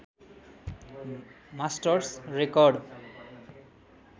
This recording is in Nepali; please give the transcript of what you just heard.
masters record